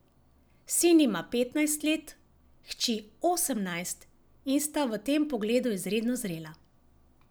Sin ima petnajst let, hči osemnajst in sta v tem pogledu izredno zrela.